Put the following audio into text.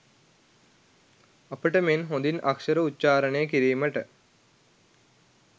අපට මෙන් හොඳින් අක්ෂර උච්චාරණය කිරීමට